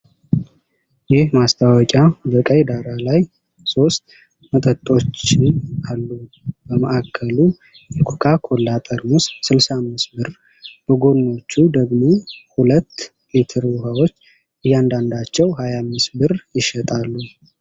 ይህ ማስታወቂያ በቀይ ዳራ ላይ ሦስት መጠጦችን አሉ። በማዕከሉ የኮካ ኮላ ጠርሙስ 65 ብር፣ በጎኖቹ ደግሞ ሁለት 2 ሊትር ውሃዎች እያንዳንዳቸው 25 ብር ይሸጣሉ